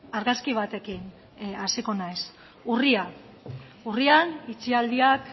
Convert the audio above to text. argazki batekin hasiko naiz urria itxialdiak